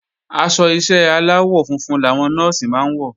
Aṣọ ìṣe aláwọ̀ funfun làwọn Nọ́ọ̀sì máa ń wọ̀